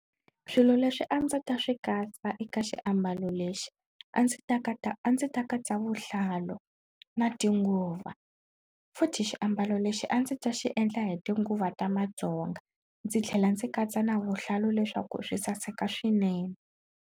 Swilo leswi a ndzi ta swi katsa eka xiambalo lexi a ndzi ta a ndzi ta katsa vuhlalu na tinguva futhi xiambalo lexi a ndzi ta xi endla hi tinguva ta Matsonga ndzi tlhela ndzi katsa na vuhlalu leswaku swi saseka swinene.